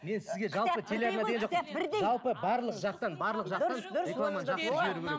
жалпы барлық жақтан барлық жақтан